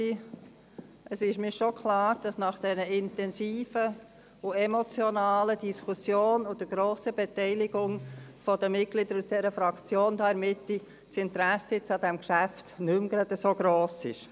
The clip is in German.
Es ist mir schon klar, dass nach dieser intensiven und emotionalen Diskussion und der grossen Beteiligung der Mitglieder der Fraktion hier in der Mitte des Saals das Interesse an diesem Geschäft jetzt nicht mehr gerade gross ist.